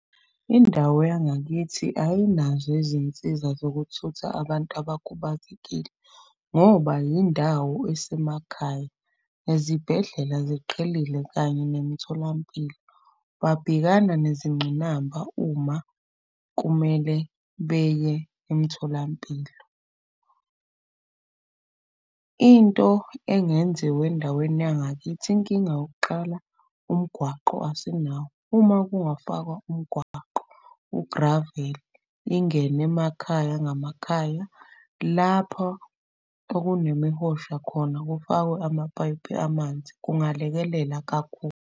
Indawo yangakithi ayinazo izinsiza zokuthutha abantu abakhubazekile ngoba yindawo esemakhaya. Nezibhedlela ziqhelile kanye nemitholampilo. Babhekana nezingqinamba uma kumele beye emtholampilo. Into engenziwa endaweni yangakithi, inkinga yokuqala umgwaqo asinawo. Uma kungafakwa umgwaqo ugraveli ingene emakhaya ngamakhaya. Lapho okunemihosha khona kufakwe amapayipi amanzi, kungalekelela kakhulu.